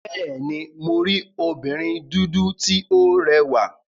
Bẹ́ẹ̀ni, mo rí obìnrin dúdú tí ó rẹwà.